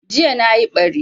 Jiya nayi ɓari